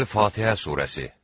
Əl-Fatihə surəsi.